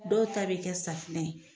Dɔw ta bi kɛ safunɛ ye.